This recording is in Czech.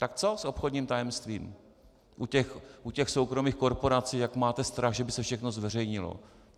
Tak co s obchodním tajemstvím u těch soukromých korporací, jak máte strach, že by se všechno zveřejnilo?